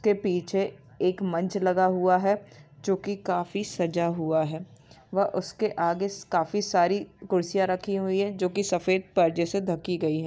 ते पीछे एक मंच लगा हुआ है जो की काफी सजा हुआ है व उसके आगे काफी सारी कुर्सिया रखी हुई है जो की सफ़ेद पर्दे से ढकी गई है।